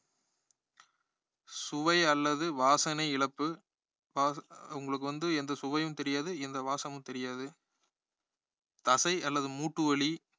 சுவை அல்லது வாசனை இழப்பு வா~ உங்களுக்கு வந்து எந்த சுவையும் தெரியாது எந்த வாசமும் தெரியாது தசை அல்லது மூட்டு வலி